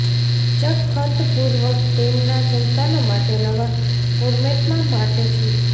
ચક ખંતપૂર્વક તેમના સંતાનો માટે નવા ફોર્મેટમાં માટે જોઈ